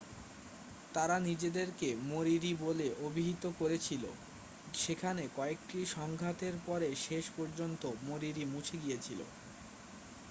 তারা নিজেদেরকে মরিরি বলে অভিহিত করেছিল সেখানে কয়েকটি সংঘাতের পরে শেষ পর্যন্ত মরিরি মুছে গিয়েছিল